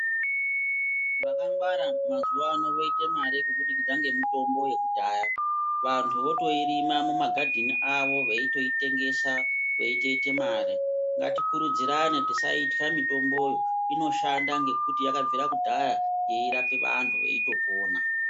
Vakangwara mazuva ano voite mare kubudikidza ngemitombo yekudhaya. Vantu votoirima mumagadheni avo veitotengesa veitoite mare .Ngatikurudzirane tisaitya mitomboyo, inoshanda ngekuti yakabvira kare yeitorape antu veitopona .